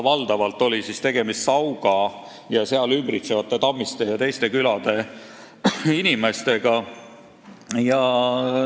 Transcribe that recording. Valdavalt oli tegemist Sauga ja seda ümbritsevate külade – Tammiste ja teiste külade – inimestega.